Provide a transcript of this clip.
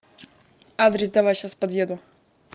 адрес давай сейчас подъеду